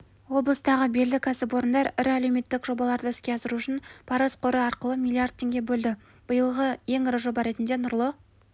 облыстағы белді кәсіпорындар ірі әлеуметтік жобаларды іске асыру үшін парыз қоры арқылы млрд теңге бөлді биылғы ең ірі жоба ретінде нұрлы